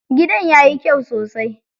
Gidan yayi kyai sosai.